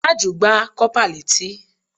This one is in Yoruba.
Tájù gbá kọ́pà létí